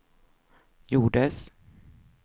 gjordes